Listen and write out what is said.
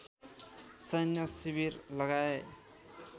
सैन्य शिविर लगाए